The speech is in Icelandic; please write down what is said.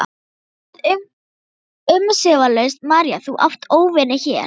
Hann sagði umsvifalaust: María þú átt óvini hér.